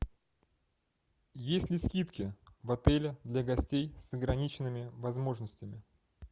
есть ли скидки в отеле для гостей с ограниченными возможностями